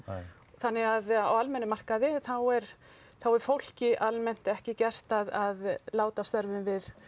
þannig að á almennum markaði þá er þá er fólki almennt ekki gert að láta af störfum við